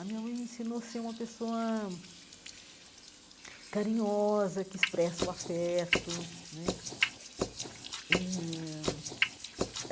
A minha mãe me ensinou a ser uma pessoa carinhosa, que expressa o afeto né eh.